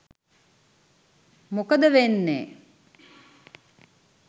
මොකද වෙන්නේ